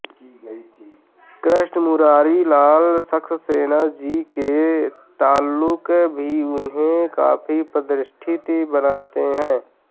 कृष्ण मुरारी लाल सक्सेना जी के ताल्लुक भी उन्हे काफी प्रितिष्ठित बनाते हैं